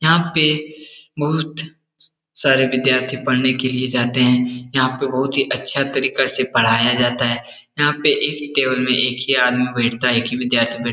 यहाँ पे बहुत सारे विद्यार्थी पढ़ने के लिए जाते हैं। यहाँ पे बहुत ही अच्छा तरीके से पढ़ाया जाता है। यहाँ पे एक ही टेबल में एक ही आदमी बैठता है। एक ही विद्यार्थी बैठ--